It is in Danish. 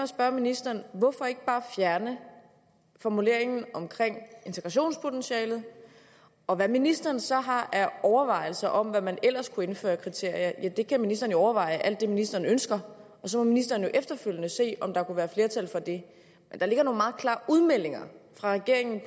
spørge ministeren hvorfor ikke bare fjerne formuleringen om integrationspotentialet og hvad ministeren så har af overvejelser om hvad man ellers kunne indføre af kriterier ja det kan ministeren jo overveje alt det ministeren ønsker og så må ministeren efterfølgende se om der kunne være flertal for det der ligger nogle meget klare udmeldinger fra regeringen